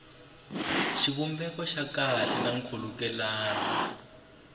xivumbeko xa kahle na nkhulukelano